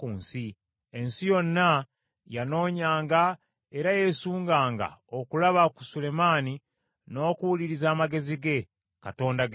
Ensi yonna yanoonyanga era yeesunganga okulaba ku Sulemaani n’okuwuliriza amagezi, Katonda ge yamuwa.